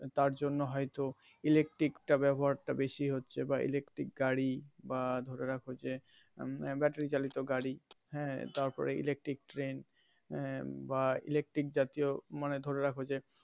তার জন্য হয় তো electric টা ব্যবহার টা বেশি হচ্ছে electric গাড়ি বা ধরে রাখো যে battery চালিত গাড়ি হ্যা তারপরে electric train বা electric জাতীয় মানে ধরে রাখো যে.